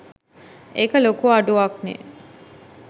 ඒක ලොකු අඩුවක්නේ.